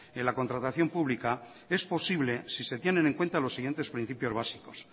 en la contratación pública es posible si se tienen en cuenta los siguientes principios básicos